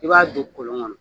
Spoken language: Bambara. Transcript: I b'a don kolon kɔnɔ